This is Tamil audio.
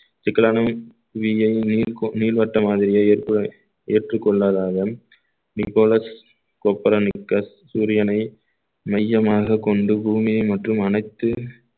நிக்கலாமிக் நீர்~ நீர்வட்ட மாதிரியே ஏற்றுக் ஏற்றுக் கொள்ளாததாலும் நிக்கோலஸ் கோபுரம் மிக்க சூரியனை மையமாகக் கொண்டு பூமியை மற்றும் அனைத்து